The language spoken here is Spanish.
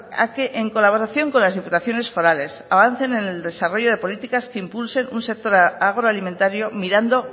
a que en colaboración con las diputaciones forales avancen en el desarrollo de políticas que impulsen un sector agroalimentario mirando